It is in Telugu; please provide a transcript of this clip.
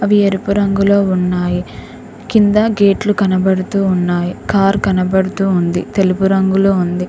ఎరుపు రంగులో ఉన్నాయి కింద గేట్లు కనబడుతు ఉన్నాయి కారు కనబడుతూ ఉంది తెలుపు రంగులో ఉంది.